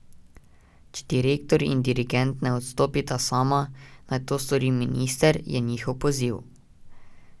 Če direktor in dirigent ne odstopita sama, naj to stori minister, je njihov poziv.